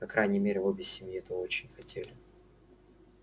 по крайней мере обе семьи этого очень хотели